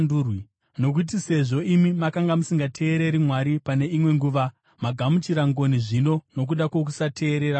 Nokuti sezvo imi makanga musingateereri Mwari pane imwe nguva magamuchira ngoni zvino nokuda kwokusateerera kwavo,